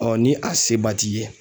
ni a se ba t'i ye